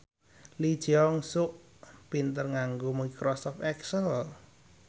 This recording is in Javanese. Lee Jeong Suk pinter nganggo microsoft excel